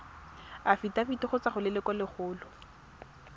afitafiti go tswa go lelokolegolo